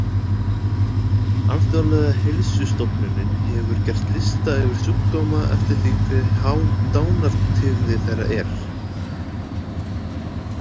Alþjóðlega heilsustofnunin hefur gert lista yfir sjúkdóma eftir því hve há dánartíðni þeirra er.